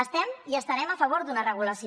estem i estarem a favor d’una regulació